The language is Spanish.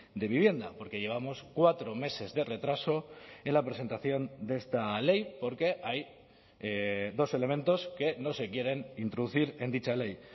de vivienda porque llevamos cuatro meses de retraso en la presentación de esta ley porque hay dos elementos que no se quieren introducir en dicha ley